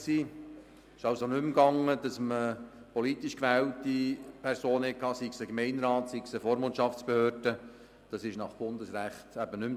Nach Bundesrecht ist es nicht mehr zulässig, politisch gewählte Personen zu nehmen, beispielsweise ein Mitglied des Gemeinderats oder der Vormundschaftsbehörde.